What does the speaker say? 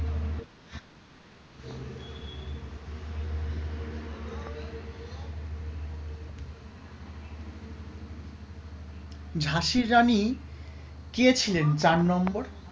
ঝাঁসির রানী কে ছিলেন চার নম্বর?